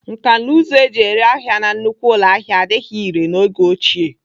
Nkanụzụ eji ere ahịa na nnukwu ụlọahịa adịghị irè n'oge ochie.